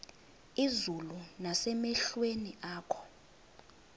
izulu nasemehlweni akho